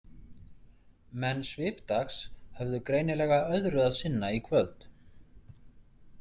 Menn Svipdags höfðu greinilega öðru að sinna í kvöld.